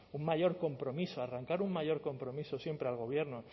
un mayor compromiso arrancar un mayor compromiso siempre al gobierno